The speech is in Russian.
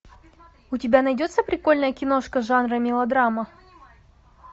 у тебя найдется прикольная киношка жанра мелодрама